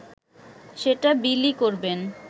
সেটা বিলি করবেন